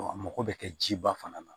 a mago bɛ kɛ jiba fana na